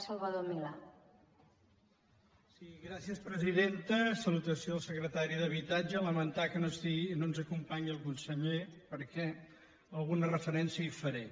salutació al secretari d’habitatge lamentar que no ens acompanyi el conseller perquè alguna referència hi faré